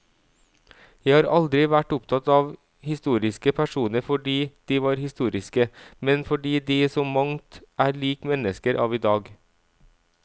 Jeg har aldri vært opptatt av historiske personer fordi de var historiske, men fordi de i så mangt er lik mennesker av i dag.